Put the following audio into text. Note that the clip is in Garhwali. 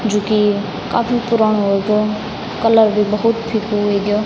जू की काफी पुराणु वेग्यो कलर भी बहौत फिकु वेग्यो।